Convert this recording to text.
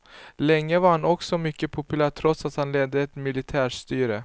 Länge var han också mycket populär trots att han ledde ett militärstyre.